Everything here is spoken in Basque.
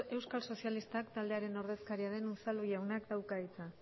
euskal sozialistak taldearen ordezkaria den unzalu jaunak dauka hitza